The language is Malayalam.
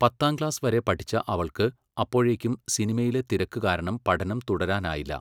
പത്താംക്ലാസ് വരെ പഠിച്ച അവൾക്ക് അപ്പോഴേക്കും സിനിമയിലെ തിരക്ക് കാരണം പഠനം തുടരാനായില്ല.